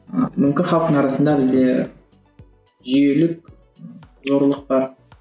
ы мүмкін халықтың арасында бізде жүйелік зорлық бар